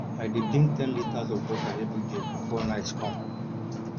i dey drink ten litres of water everyday before night come